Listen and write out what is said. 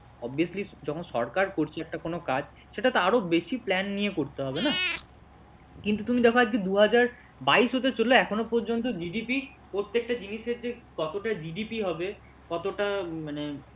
obiously যখন সরকার করছে একটা কোন কাজ সেটাটো আরও বেশী plan নিয়ে করতে হবে না কিন্তু তুমি দেখো আজকে দু হাজার বাইশ হতে চলল এখনও পর্যন্ত GDP প্রত্যেকটা জিনিসের যে কতটা GDP হবে কতটা মানে